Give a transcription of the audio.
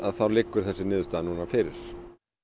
þá liggur þessi niðurstaða núna fyrir